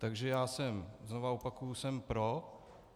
Takže já jsem, znova opakuji, jsem pro.